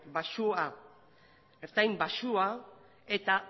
baxua ertain baxua eta